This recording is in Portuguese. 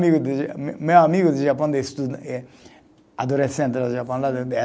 Meu amigo de Japão de estudo, eh adolescente lá do Japão